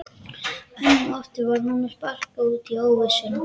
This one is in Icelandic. Enn og aftur var honum sparkað út í óvissuna.